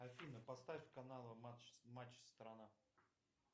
афина поставь канал матч страна